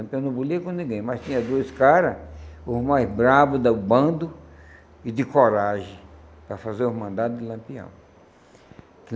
Lampião não bulia com ninguém, mas tinha dois caras, os mais bravos do bando e de coragem, para fazer os mandados de Lampião.